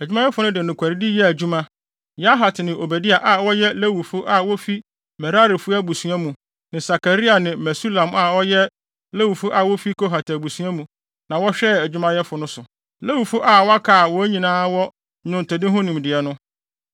Adwumayɛfo no de nokwaredi yɛɛ adwuma. Yahat ne Obadia a wɔyɛ Lewifo a wofi Merarifo abusua mu, ne Sakaria ne Mesulam a wɔyɛ Lewifo a wofi Kohatfo abusua mu na wɔhwɛɛ adwumayɛfo no so. Lewifo a wɔaka a wɔn nyinaa wɔ nnwontode ho nimdeɛ no,